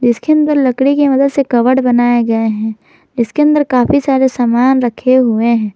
इसके अंदर लकड़ी के मदद से कवड बनाये गये है इसके अंदर काफी सारे सामान रखे हुए है।